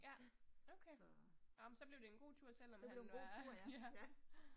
Ja. så. Det blev en god tur, ja, ja